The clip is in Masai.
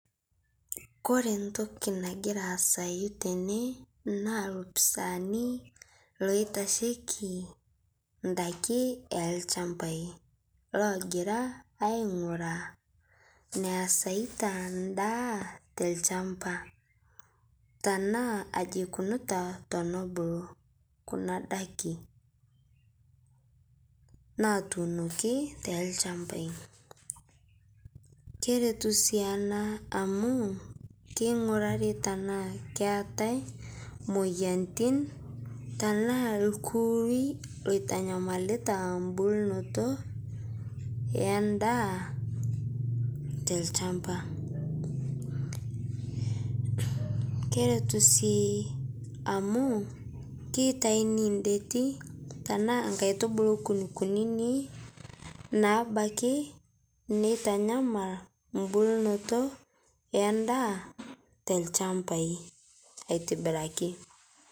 Kore ntoki nagira aazayu tene naa lopisaani loitashekii ndakii elshampai logira aing'uraa neasaita ndaa telshampa tanaa aji eikunuta tenebulu kuna daki, natuunoki telshampai. Keretu sii anaa amu keingurarii tanaa keatai moyanitin, tanaa lkurui loitanyamalita mbulnoto endaa te lshampa. Keretu sii amu keitaini ndeti anaa nkaitubulu kunkunini naabaki neitanyamal mbulnotoo endaa te lshampai aitibiraki.